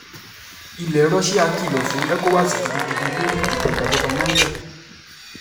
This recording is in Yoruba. ilẹ̀ russia kìlọ̀ fún ecowas gidigidi lórí ìdìtẹ̀-gbàjọba niger